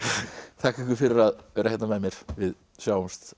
þakka ykkur fyrir að vera hérna með mér við sjáumst